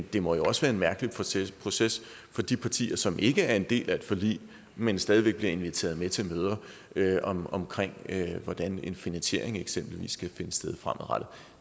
det må jo også være en mærkelig proces proces for de partier som ikke er en del af et forlig men stadig væk bliver inviteret med til møder om om hvordan en finansiering eksempelvis skal finde sted fremadrettet